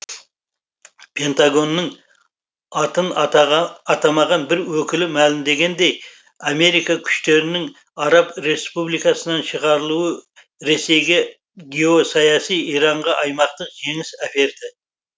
пентагонның атын атамаған бір өкілі мәлімдегендей америка күштерінің араб республикасынан шығарылуы ресейге геосаяси иранға аймақтық жеңіс әперді